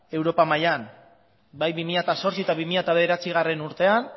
europa mailan bai bi mila zortzi eta bi mila bederatzigarrena urtean